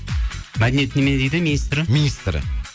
мәдениет немене дейді министрі министрі